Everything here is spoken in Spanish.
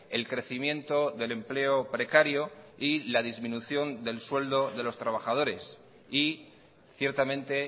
el crecimiento del empleo precario y la disminución del sueldo de los trabajadores y ciertamente